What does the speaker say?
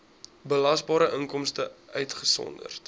belasbare inkomste uitgesonderd